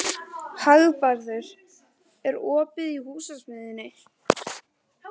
Hagbarður, er opið í Húsasmiðjunni?